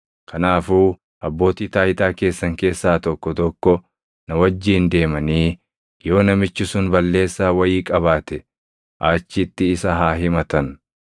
Kanaafuu abbootii taayitaa keessan keessaa tokko tokko na wajjin deemanii yoo namichi sun balleessaa wayii qabaate achitti isa haa himatan.”